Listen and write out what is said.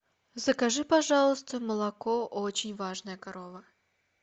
закажи пожалуйста молоко очень важная корова